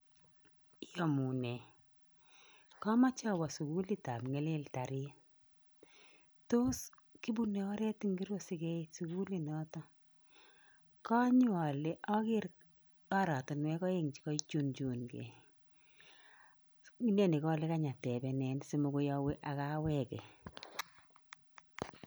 Iomunee komoche owoo sukulit ab nyaliltarit tos kibunee oret ingiro sikeit sukiuli noton konyon ole oker oratinwek oeng chekoichunchun gee neni kole kany atepenen simokoy owee ak aweke.